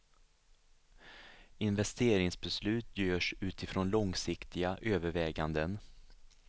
Investeringsbeslut görs utifrån långsiktiga överväganden.